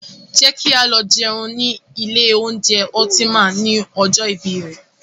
Jẹ́ kí á lọ jẹun ni ilé oúnjẹ Ultima ni ọjọ́ ìbí rè.